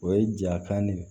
O ye ja kan de ye